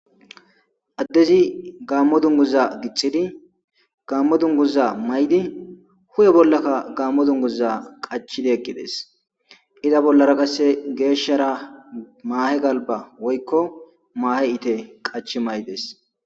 addezi gaammo dunguza gixxidi gaammo dunguza maydi hu'e bollakka gaammo dunguza qachidi eqqides iza bollara qasse geeshshara maahe galba woykko maahe ite qach mayides